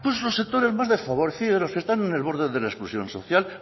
pues los sectores más desfavorecidos los que están en el borde de la exclusión social